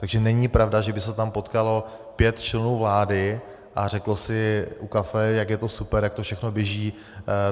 Takže není pravda, že by se tam potkalo pět členů vlády a řeklo si u kafe, jak je to super, jak to všechno běží.